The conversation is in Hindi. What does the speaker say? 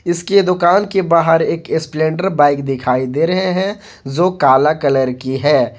इसकी दुकान के बाहर एक स्प्लेंडर बाइक दिखाई दे रहे हैं जो काला कलर की है।